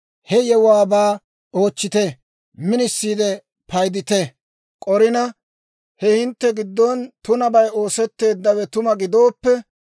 he yewuwaabaa oochchite; minisiide paydite. K'orina he hintte giddon tunabay oosetteeddawe tuma gidooppe,